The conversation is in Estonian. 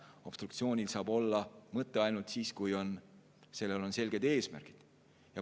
Obstruktsioonil saab mõte olla ainult siis, kui sellel on selged eesmärgid.